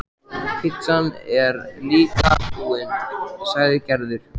Pitsan er líka búin, sagði Gerður.